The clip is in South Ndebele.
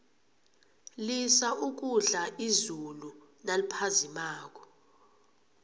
lisa ukudla izulu naliphazimako